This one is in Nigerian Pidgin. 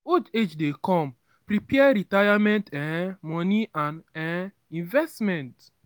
as old age dey come prepare retirement um money and um investment